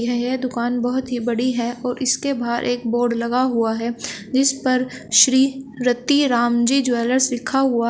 यह दुकान बहोत ही बड़ी है और इसके बाहर एक बोर्ड लगा हुआ है जिस पर श्री रतिराम जी ज्वैलर्स लिखा हुआ--